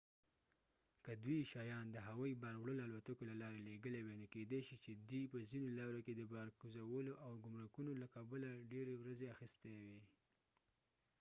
که دوی شیان د هوایي بار وړلو الوتکې له لارې لیږلي وي نو کيدې شي چې دې په ځینو لارو کې د بار کوزولو او ګمرکونو له کبله يې ډیرې ورځې اخيستې وي